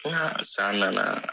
san nana !